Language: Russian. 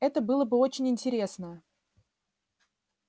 это было бы очень интересно